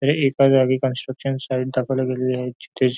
हे एका जागी कन्स्ट्रक्शन साईट दाखवल्या गेलेली आहे जिथे जे --